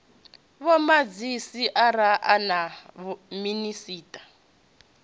vhomadzhisi ara a na minisiṱa